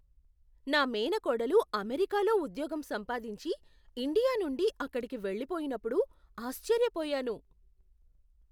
నా మేనకోడలు అమెరికాలో ఉద్యోగం సంపాదించి, ఇండియా నుండి అక్కడికి వెళ్ళిపోయినప్పుడు ఆశ్చర్యపోయాను.